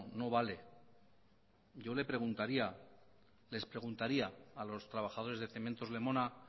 no vale yo les preguntaría a los trabajadores de cementos lemona